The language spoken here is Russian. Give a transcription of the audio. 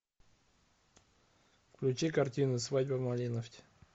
включи картину свадьба в малиновке